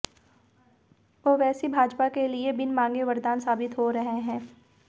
ओवैसी भाजपा के लिए बिन मांगे वरदान साबित हो रहे हैं